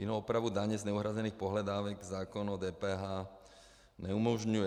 Jinou opravu daně z neuhrazených pohledávek zákon o DPH neumožňuje.